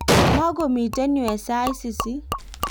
mukumito yue eng' sait sisit